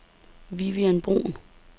Vivian Bruhn